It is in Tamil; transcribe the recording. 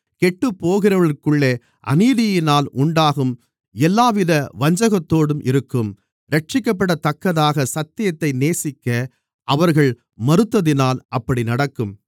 கெட்டுப்போகிறவர்களுக்குள்ளே அநீதியினால் உண்டாகும் எல்லாவித வஞ்சகத்தோடும் இருக்கும் இரட்சிக்கப்படத்தக்கதாகச் சத்தியத்தை நேசிக்க அவர்கள் மறுத்ததினால் அப்படி நடக்கும்